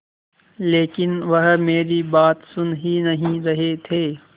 लेकिन वह मेरी बात सुन ही नहीं रहे थे